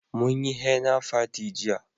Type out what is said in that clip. Mun yi hena fati jiya